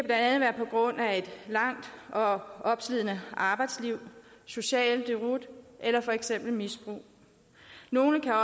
være på grund af et langt og opslidende arbejdsliv social deroute eller for eksempel misbrug nogle kan